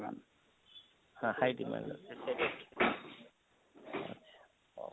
ହଁ high demand ଅଛେ ସେଇଟା ଠିକ ଅଛେ ଆଚ୍ଛା,